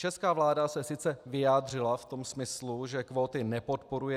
Česká vláda se sice vyjádřila v tom smyslu, že kvóty nepodporuje.